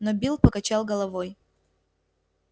но билл покачал головой